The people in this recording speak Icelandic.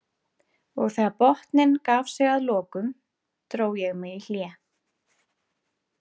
Og þegar botninn gaf sig að lokum, dró ég mig í hlé.